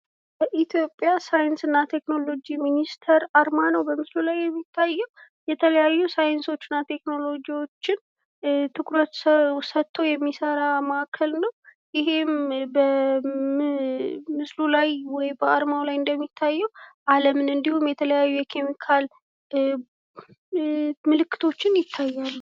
በኢትዮጵያ ሳይንስ እና ቴክኖሎጅይ ሚኒስቴር አርማ ነው በምስሉ ላይ የሚታየው :: ሳይንስ እና ቴክኖሎጅይዎችን ትኩረት ሰጥቶ የሚሰራ መአከለ ነው :: በምስሉ ላይ እንደሚታየው የተለያዩ ኬሚካሎች አሉ ::